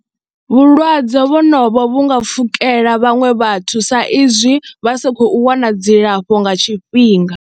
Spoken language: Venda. Vhulwadze honovho vhu nga pfhukela vhaṅwe vhathu sa izwi vha sa khou wana dzilafho nga tshifhinga.